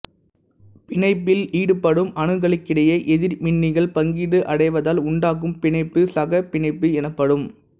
பிணைப்பில் ஈடுபடும் அணுக்களுக்கிடையே எதிர்மின்னிகள் பங்கீடு அடைவதால் உண்டாகும் பிணைப்பு சகப்பிணைப்பு என்ப்படும்